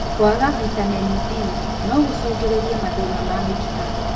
Kwaga vitameni D nogũcũngĩrĩrie mathĩna ma mĩkiha